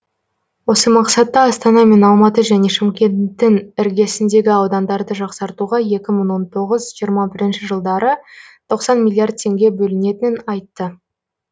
осы мақсатта астана мен алматы және шымкенттің іргесіндегі аудандарды жақсартуға екі мың он тоғыз жиырма бірінші жылдары тоқсан миллиард теңге бөлінетінін айтты